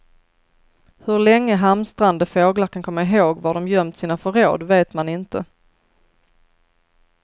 Hur länge hamstrande fåglar kan komma ihåg var de gömt sina förråd vet man inte.